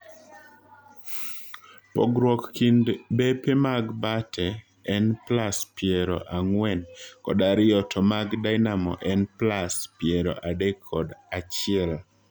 Pogruok kind bepe mag Bate en plas piero ang'wen kod ariyo to mag Dinamo en plas piero adek kod achiel.